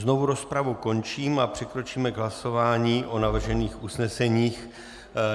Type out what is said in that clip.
Znovu rozpravu končím a přikročíme k hlasování o navržených usneseních.